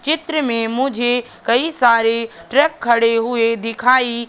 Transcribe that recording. चित्र मे मुझे कई सारे ट्रक खड़े हुए दिखाई--